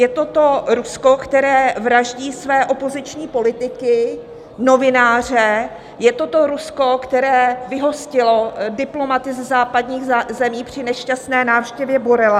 Je to to Rusko, které vraždí své opoziční politiky, novináře, je to to Rusko, které vyhostilo diplomaty ze západních zemí při nešťastné návštěvě Borrella.